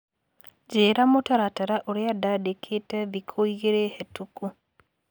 Njĩra mũtaratara ũrĩa ndandĩkĩte thikũ igĩrĩ hetũku.